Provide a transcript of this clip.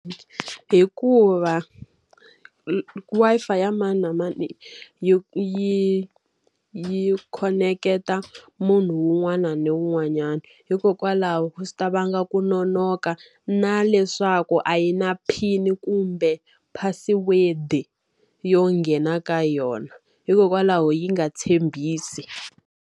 Hikuva Wi-Fi ya mani na mani yi yi yi khoneketa munhu un'wana ni un'wanyana. Hikokwalaho swi ta vanga ku nonoka, na leswaku a yi na PIN kumbe password-i yo nghena ka yona hikokwalaho yi nga tshembisi.